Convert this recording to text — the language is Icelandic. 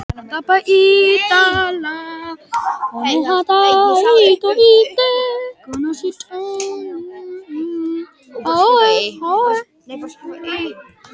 Og svo éta þeir á við hross!